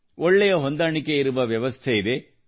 ಒಳ್ಳೆಯ ಹೊಂದಾಣಿಕೆ ಇರುವ ವ್ಯವಸ್ಥೆ ಇದೆ